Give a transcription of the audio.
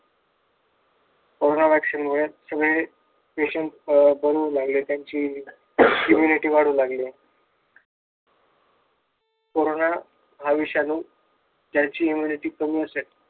Corona vaccine मुळे सगळे patient अं बनवू लागले. त्यांची immunity वाढू लागले कोरोना हा विषाणू immunity ज्यांची कमी असेल,